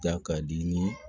Ja ka di ni